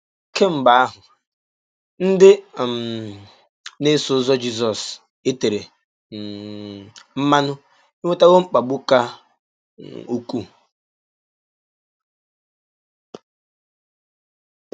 Kemgbe ahụ, ndị um na - eso ụzọ Jizọs e tere um mmanụ enwetawo mkpagbu ka um ukwuu.